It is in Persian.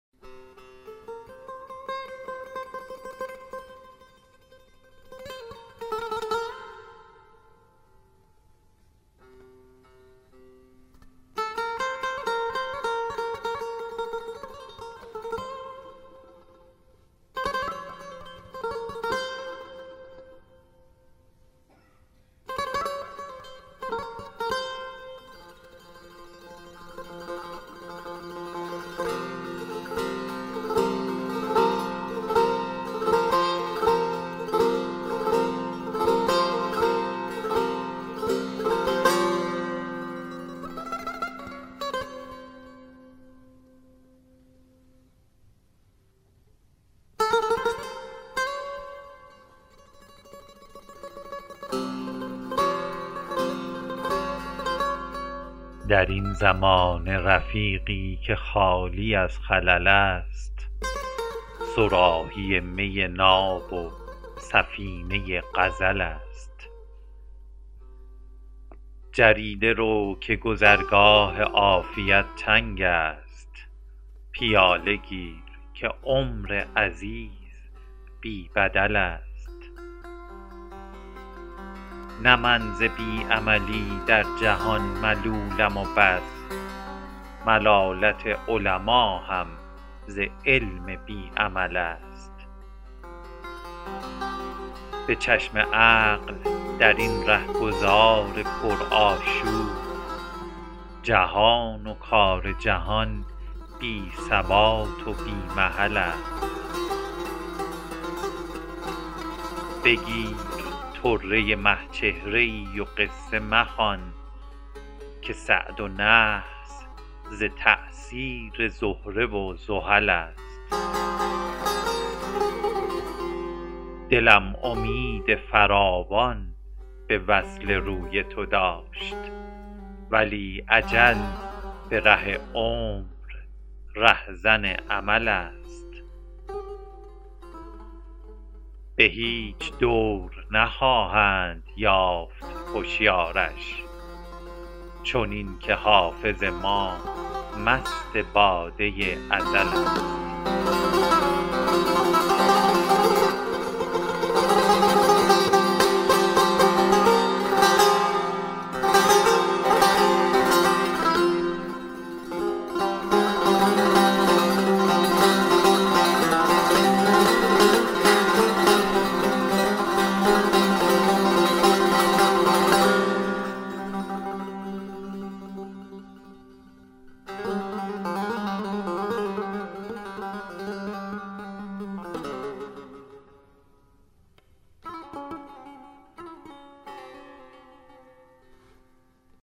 در این زمانه رفیقی که خالی از خلل است صراحی می ناب و سفینه غزل است جریده رو که گذرگاه عافیت تنگ است پیاله گیر که عمر عزیز بی بدل است نه من ز بی عملی در جهان ملولم و بس ملالت علما هم ز علم بی عمل است به چشم عقل در این رهگذار پرآشوب جهان و کار جهان بی ثبات و بی محل است بگیر طره مه چهره ای و قصه مخوان که سعد و نحس ز تأثیر زهره و زحل است دلم امید فراوان به وصل روی تو داشت ولی اجل به ره عمر رهزن امل است به هیچ دور نخواهند یافت هشیارش چنین که حافظ ما مست باده ازل است